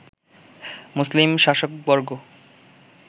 মুসলিম শাসকবর্গ